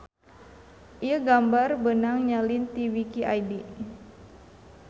Ieu gambar beunang nyalin ti wiki id.